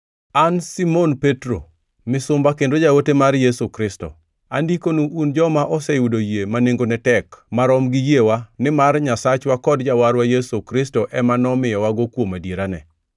An Simon Petro, misumba kendo jaote mar Yesu Kristo, Andikonu un joma oseyudo yie ma nengone tek marom gi yiewa nimar Nyasachwa kod Jawarwa Yesu Kristo ema nomiyowago kuom adierane: